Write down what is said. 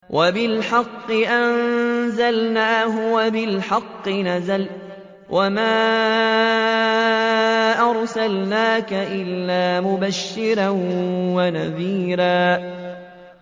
وَبِالْحَقِّ أَنزَلْنَاهُ وَبِالْحَقِّ نَزَلَ ۗ وَمَا أَرْسَلْنَاكَ إِلَّا مُبَشِّرًا وَنَذِيرًا